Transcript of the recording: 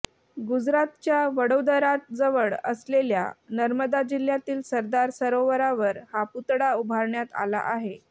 गुजरातच्या वडोदराजवळ असलेल्या नर्मदा जिल्ह्यातील सरदार सरोवरावर हा पुतळा उभारण्यात आला आहे